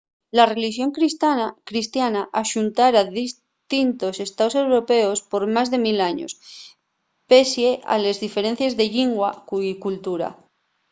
la relixón cristiana axuntara distintos estaos europeos por más de mil años pesie a les diferencies de llingua y cultura